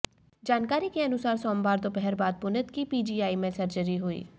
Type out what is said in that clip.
जानकारी के अनुसार सोमवार दोपहर बाद पुनीत की पीजीआई में सर्जरी हुई